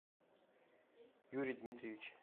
юрий дмитриевич